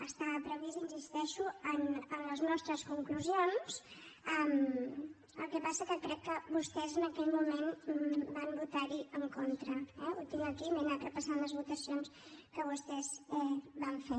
està previst hi insisteixo en les nostres conclusions el que passa és que crec que vostès en aquell moment van votar hi en contra eh ho tinc aquí m’he anat repassant les votacions que vostès van fer